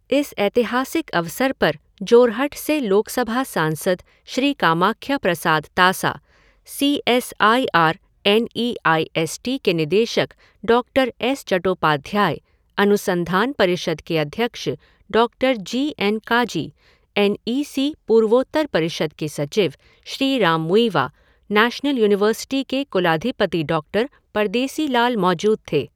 इस ऐतिहासिक अवसर पर जोरहट से लोकसभा सांसद Shri Kamakhya Prasad Tasa, C S I R N E I S T के निदेशक डॉक्टर एस चट्टोपाध्याय, अनुसंधान परिषद के अध्यक्ष doctor G N Kazi, N E C पूर्वोत्तर परिषद के सचिव श्री राम मुइवा, नैशनल यूनिवर्सिटी के कुलाधिपति डॉक्टर परदेसी लाल मौजूद थे।